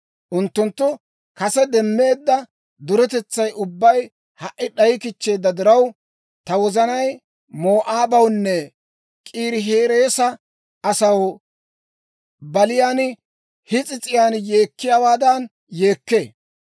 Unttunttu kase demmeedda duretetsay ubbay ha"i d'ayikichcheedda diraw, ta wozanay Moo'aabawunne K'iirihereesa asaw baliyaan his'is'iyaan yeekkiyaawaadan yeekkee.